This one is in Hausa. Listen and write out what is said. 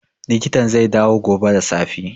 Likitan zai dawo gobe da safe